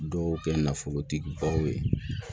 Dɔw kɛ nafolotigi baw ye